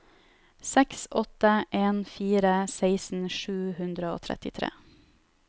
seks åtte en fire seksten sju hundre og trettitre